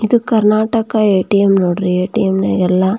ಇದು ಕರ್ನಾಟಕ ಎ.ಟಿ.ಎಮ್ ನೋಡ್ರಿ ಎ.ಟಿ.ಎಮ್ ನಾಗ ಎಲ್ಲ --